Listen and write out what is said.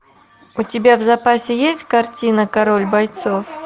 у тебя в запасе есть картина король бойцов